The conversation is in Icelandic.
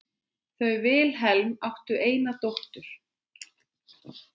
Þau Vilhelm áttu eina dóttur.